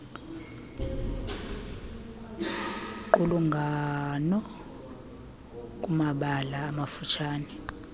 qulungano kuumabalana amafutshane